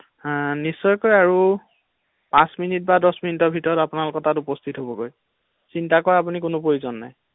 হা নিশ্চয়কৈ আৰু পাচঁ মিনিট বা দছ মিনিটৰ ভিতৰত আপোনালোকৰ তাত উপস্হিত হ’বগৈ ৷চিন্তা কৰাৰ আপুনি কোনো প্ৰয়োজন নাই ৷